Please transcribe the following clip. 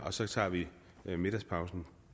og så tager vi middagspausen